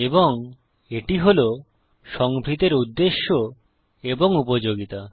এবং এটি হল সংভৃতের উদ্দেশ্য এবং উপযোগিতা